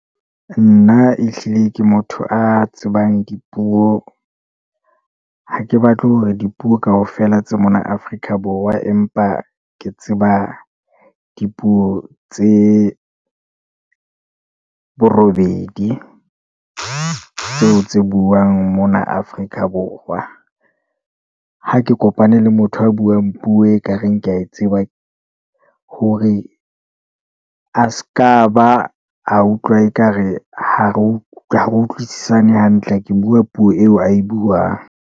Nna ehlile ke motho a tsebang dipuo. Ha ke batle hore dipuo kaofela tsa mona Afrika Borwa, empa ke tseba dipuo tse bo robedi tseo tse buang mona Afrika Borwa. Ha ke kopane le motho a buang puo ekareng ke ae tsebang hore a s'ka ba a utlwa ekare ha re utlwisisane hantle, ke bua puo eo ae buang.